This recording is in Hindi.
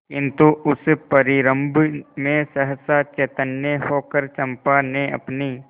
किंतु उस परिरंभ में सहसा चैतन्य होकर चंपा ने अपनी